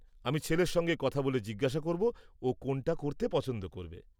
-আমি ছেলের সঙ্গে কথা বলে জিজ্ঞাসা করব ও কোনটা করতে পছন্দ করবে।